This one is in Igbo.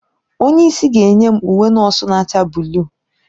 Onye isi ga-enye m uwe nọọsụ na-acha buluu.